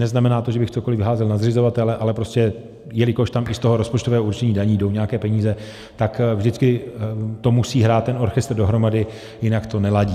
Neznamená to, že bych cokoliv házel na zřizovatele, ale prostě jelikož tam i z toho rozpočtového určení daní jdou nějaké peníze, tak to vždycky musí hrát ten orchestr dohromady, jinak to neladí.